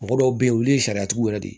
Mɔgɔ dɔw be yen olu ye sariya tigiw yɛrɛ de ye